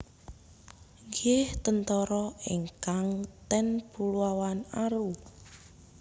Nggih tentara ingkang ten Kepulauan Aru